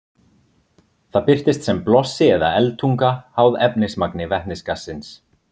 Það birtist sem blossi eða eldtunga, háð efnismagni vetnisgassins.